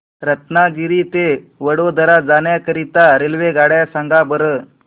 रत्नागिरी ते वडोदरा जाण्या करीता रेल्वेगाड्या सांगा बरं